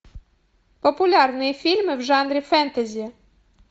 популярные фильмы в жанре фэнтези